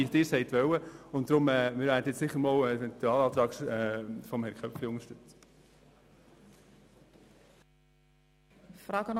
Wir werden deshalb zunächst den Eventualantrag von Grossrat Köpfli unterstützen.